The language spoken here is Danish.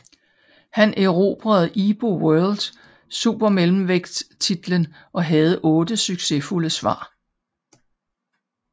Han erobrede IBO World supermellemvægt titelen og havde 8 succesfulde forsvar